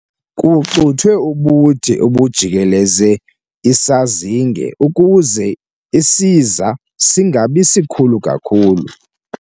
Kucuthwe ubude obujikeleze isazinge ukuze isiza singabi sikhulu kakhulu.